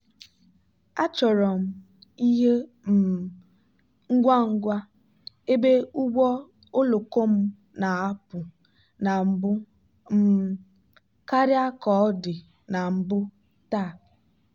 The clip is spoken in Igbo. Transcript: achọrọ m ihe um ngwa ngwa ebe ụgbọ oloko m na-apụ na mbụ um karịa ka ọ dị na mbụ taa.